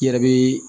I yɛrɛ bi